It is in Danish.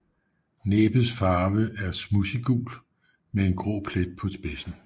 Næbets farve er smudsiggul med en grå plet på spidsen